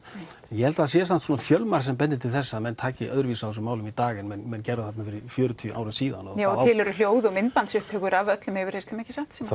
ég held að það sé samt fjölmargt sem bendir til þess að menn taki öðruvísi á þessum málum í dag en menn gerðu þarna fyrir fjörutíu árum síðan og til eru hljóð og myndbandsupptökur af öllum yfirheyrslum ekki satt